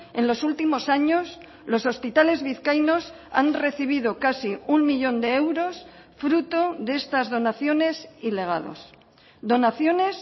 en los últimos años los hospitales vizcaínos han recibido casi uno millón de euros fruto de estas donaciones y legados donaciones